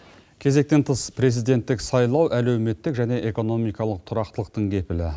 кезектен тыс президенттік сайлау әлеуметтік және экономикалық тұрақтылықтың кепілі